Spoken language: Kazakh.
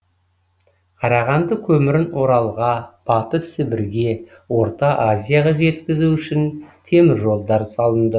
қарағанды көмірін оралға батыс сібірге орта азияға жеткізу үшін темір жолдар салынды